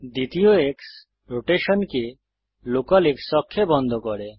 দ্বিতীয় এক্স রোটেশনকে local X অক্ষে বন্ধ করে